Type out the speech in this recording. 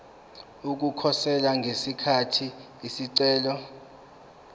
ukukhosela ngesikhathi isicelo